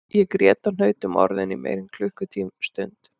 Ég grét og hnaut um orðin í meira en klukkustund